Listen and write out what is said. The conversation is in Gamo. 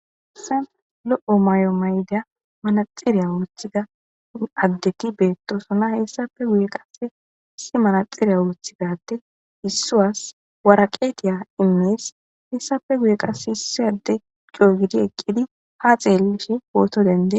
Hayssen lo'o may'o mayda manaxiriya wurothida addeti beettosona hessafe guye qas isi manaxiriya wuruthigade issu was waraqeetiya imees hessafe guye qase hissi adde cogidi eqqidi ha xeellishe wooto dendee